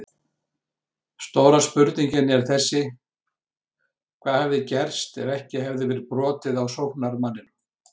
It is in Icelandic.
Stóra spurningin er þessi: Hvað hefði gerst ef ekki hefði verið brotið á sóknarmanninum?